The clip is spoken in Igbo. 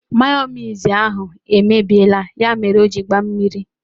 Mayonise ahụ emebiela, ya mere o jiri gbaa mmiri.